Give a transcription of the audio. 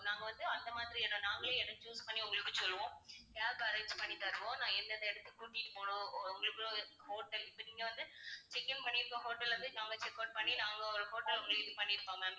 நாங்க வந்து அந்த மாதிரி இடம் நாங்களே இடம் choose பண்ணி உங்களுக்குச் சொல்லுவோம். cab arrange பண்ணித் தருவோம். நான் எந்தெந்த இடத்துக்குக் கூட்டிட்டு போகணும் உ~ உங்களுக்கு hotel இப்ப நீங்க வந்து check in பண்ணி இருக்க hotel வந்து நாங்க check out பண்ணி நாங்க ஒரு hotel ஒண்ணு இது பண்ணி இருப்போம் ma'am